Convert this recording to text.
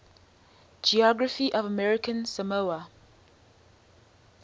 geography of american samoa